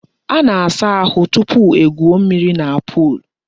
A na-asa ahu tupu egwuo mmiri na pol.